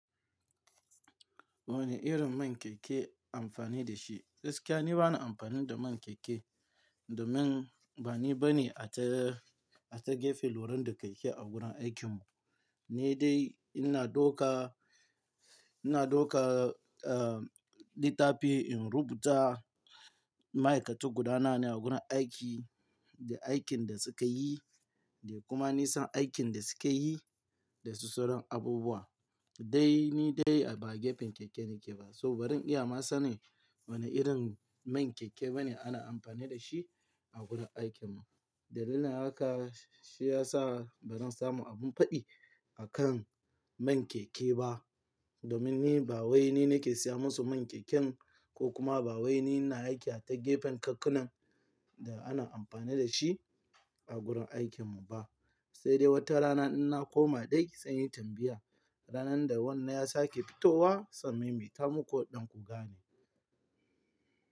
Wane irin man keke amfani da shi? Gaskiya ni bana amfani da man keke, domin ba ni bane ata, ata gefe loren da keke a gurin aikin mu. Ni dai ina dauka, ina dauka, uh, littafi in rubuta ma'aikatu gudanana a gurin aiki, da aikin da suka yi, da kuma nisan aikin da suka yi, da su suran abubuwa. Dai ni dai ba gefen keke nake ba. So bari iyama sane wane irin man keke bane ana amfani da shi a gurin aikin mu. Dalilin haka shi ya sa ban samu abin faɗi akan man keke ba. Domin ni ba wai ni nake siya musu man keken, ko kuma ba wai ni na aiki a ta gefen kakkunan da ana amfani da shi a gurin aikin mu ba. Sai dai wata rana in na koma, dai ki tsani tambaya. Ranar da wannan ya sake fitowa, sannan me tamiko ɗin ku gane.